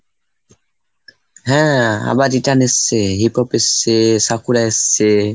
হ্যাঁ আবার return এসছে, hip hop এসছে, সাকুরা এসছে।